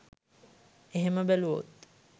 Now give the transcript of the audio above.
එහෙම බැලුවොත්